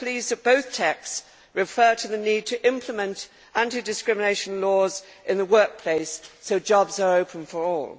I am pleased that both texts refer to the need to implement anti discrimination laws in the workplace so that jobs are open for all.